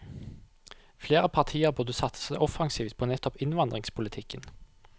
Flere partier burde satse offensivt på nettopp innvandringspolitikken.